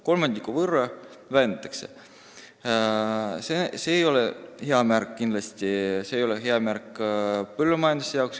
Toetusi vähendatakse kolmandiku võrra, mis ei ole kindlasti hea märk põllumajanduse jaoks.